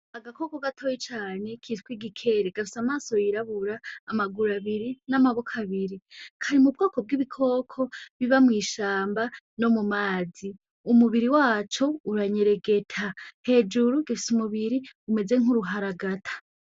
Agakoko gatoya cane kitwa igikere. Gafise amaso yirabura, amaguru abiri, n'amaboko abiri. Kari mu bwoko bw'ibikoko biba mw'ishamba no mu mazi. Umubiri waco uranyeregeta. Hejuru gifise umubiri umeze nk'uruharagata.